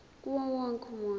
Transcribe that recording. kuwo wonke umuntu